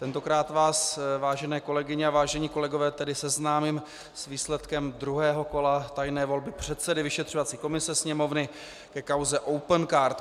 Tentokrát vás, vážené kolegyně a vážení kolegové, tedy seznámím s výsledkem druhého kola tajné volby předsedy vyšetřovací komise Sněmovny ke kauze Opencard.